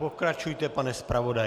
Pokračujte, pane zpravodaji.